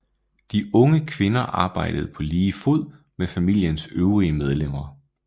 De unge kvinder arbejdede på lige fod med familiens øvrige medlemmer